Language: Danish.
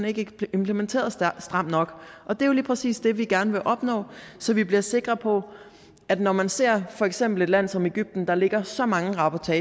ikke bliver implementeret stramt nok og det er jo lige præcis det vi gerne vil opnå så vi bliver sikre på at når man ser for eksempel et land som egypten som der ligger så mange rapporter